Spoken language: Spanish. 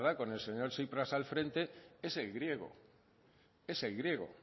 con el señor tsipras al frente es el griego